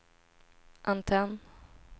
antenn